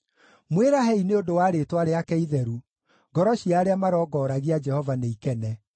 Mwĩrahei nĩ ũndũ wa rĩĩtwa rĩake itheru; ngoro cia arĩa marongoragia Jehova nĩikene.